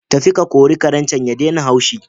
Tafi ka kori Karen can ya daina haushi